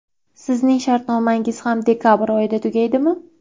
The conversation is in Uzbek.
Sizning shartnomangiz ham dekabr oyida tugaydimi?